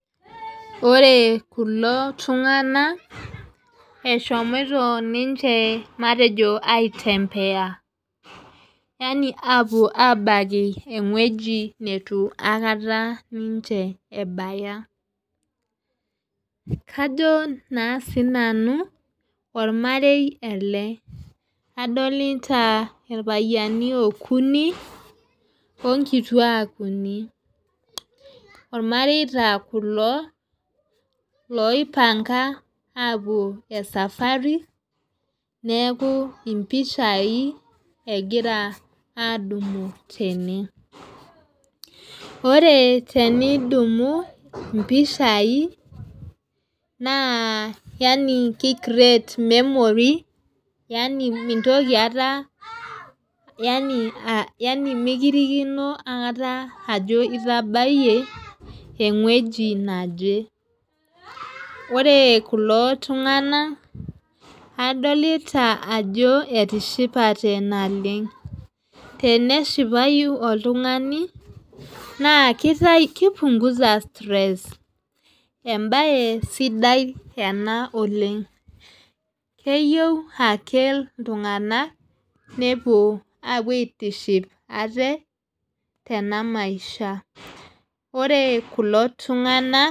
Ore kulo tunganak eshomoito ninche matejo aitembea yaani apuo abaiki ewueji nitu aikata ninche ebaya ajo naa sinanu ormarei ele adolita irpayiani ookuni okituak uni irmareita kulo loipanga apuo esafari neaku ipishai egira adumu tene ore tenidumu ipishai naa yaani kiki create memories yaani mitoki aata yaani mikirikino aikata itapayie ewueji neje ore kulo tunganak adolita ajo etishipate naleng teneshipayu oltungani naa kipunguza stress ebae sidai ena oleng keyieu ake iltunganak nepuo apuo aitiship aate tena maisha ore kulo tunganak.